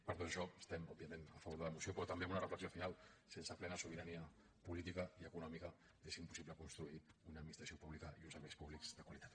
per tot això estem òbviament a favor de la moció pe·rò també amb una reflexió final sense plena sobirania política i econòmica és impossible construir una ad·ministració pública i uns serveis públics de qualitat